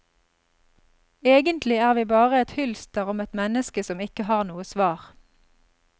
Egentlig er vi bare et hylster om et menneske som ikke har noe svar.